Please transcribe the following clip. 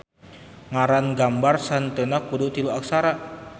Ngaran gambar sahenteuna kudu tilu aksara.